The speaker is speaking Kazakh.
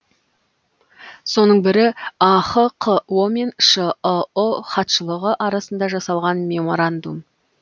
соның бірі ахқо мен шыұ хатшылығы арасында жасалған меморандум